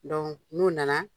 n'u na na.